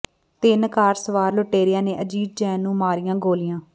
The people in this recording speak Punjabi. ਤਿੰਨ ਕਾਰ ਸਵਾਰ ਲੁਟੇਰਿਆਂ ਨੇ ਅਜੀਤ ਜੈਨ ਨੂੰ ਮਾਰੀਆਂ ਗੋਲੀਆਂ